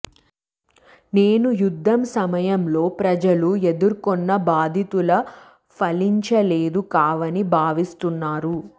నేను యుద్ధం సమయంలో ప్రజలు ఎదుర్కొన్న బాధితుల ఫలించలేదు కావని భావిస్తున్నాను